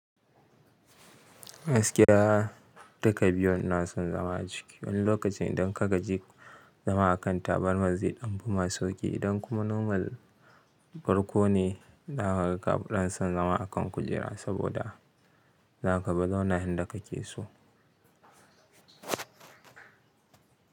Gaskiya duka biyu inason zama a ciki wani lokacin idan ka gaji zama a kan taburmar zai dan fi ma sauki idan kuma nomal farko ne kafi son zama akan kujera saboda za ka bi zauna inda ka ke so.